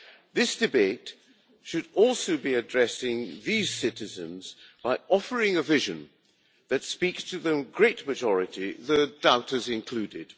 This debate should also be addressing these citizens by offering a vision that speaks to the great majority, the doubters included.